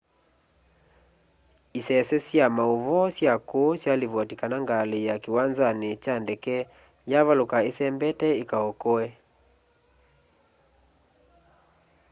isese sya mauvoo sya kuu syalivoti kana ngali ya kiwanzani kya ndeke yavaluka isembete ikaokoe